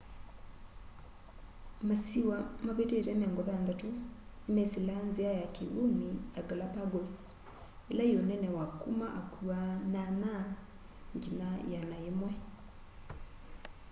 masiwa mavitite 60 nimesilaa nzia ya kiwuni ya galapagos ila yi unene wa kuma akua 8 nginya 100